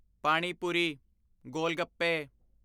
ਪਾਣੀ ਪੁਰੀ (ਗੋਲ-ਗੱਪੇ)